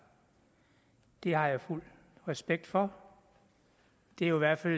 det har jeg fuld respekt for det er jo i hvert fald